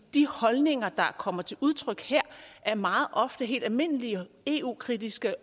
de holdninger der kommer til udtryk her er meget ofte helt almindelige eu kritiske